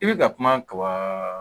I bɛ ka kuma ka wa